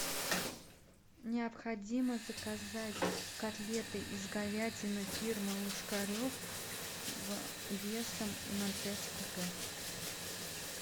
необходимо заказать котлеты из говядины фирмы ложкарев весом ноль пять кг